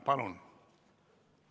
Palun!